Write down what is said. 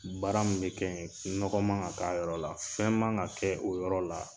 Baara min be kɛ yen nɔgɔ man ka k'a yɔrɔ la fɛn man ka kɛ o yɔrɔ la